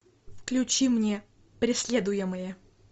включи мне преследуемые